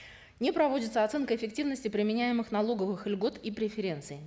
не проводится оценка эффективности применяемых налоговых льгот и преференций